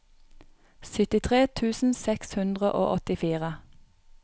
syttitre tusen seks hundre og åttifire